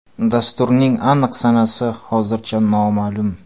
Dasturning aniq sanasi hozircha noma’lum.